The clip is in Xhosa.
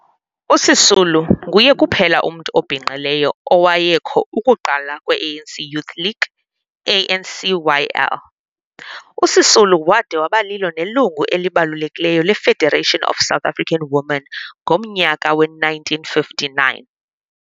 USisulu nguye kuphela umntu obhinqileyo owayekho ukuqalwa kwe-ANC Youth League, ANCYL. USisulu wade wabalilo nelungu elibekekileyo le-Federation of South African Women ngomnyaka we-1959.